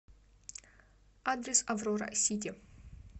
адрес аврора сити